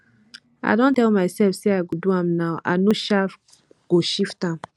i don tell mysef sey i go do am now i no um go shift am